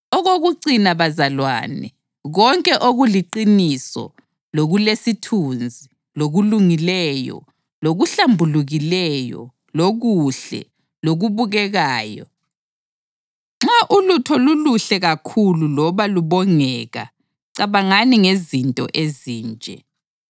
Okokucina bazalwane, konke okuliqiniso, lokulesithunzi, lokulungileyo, lokuhlambulukileyo, lokuhle, lokubukekayo, nxa ulutho luluhle kakhulu loba lubongeka, cabangani ngezinto ezinje.